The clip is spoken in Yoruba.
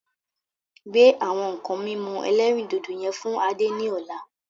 Gbe àwọn nǹkan mímu ẹlẹ́rìndòdò yẹn fún Adé ni ọ̀la.